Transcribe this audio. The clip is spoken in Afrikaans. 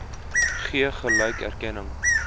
gee gelyke erkenning